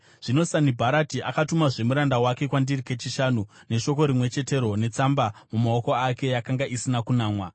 Zvino, Sanibharati akatumazve muranda wake kwandiri kechishanu, neshoko rimwe chetero netsamba mumaoko ake yakanga isina kunamwa.